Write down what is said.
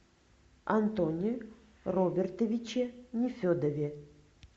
антоне робертовиче нефедове